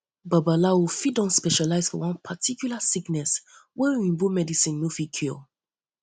babalawo fit don um specialize for one particular sickness wey oyibo medicine no fit cure um